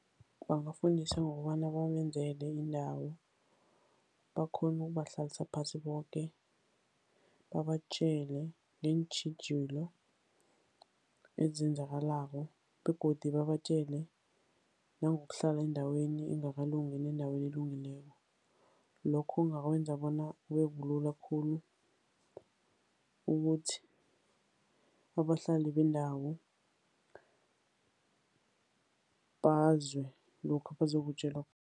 Bangafundiswa ngokobana babenzele indawo, bakghone ukubahlalisa phasi boke, babatjele ngeentjhijilo ezenzakalako. Begodu babatjele nangokuhlala endaweni engakalungi nendaweni elungileko. Lokho kungakwenza bona kube bulula khulu ukuthi abahlali bendawo bezwe lokho abazokutjelwa.